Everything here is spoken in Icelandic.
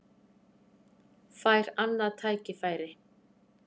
Fær annað tækifæri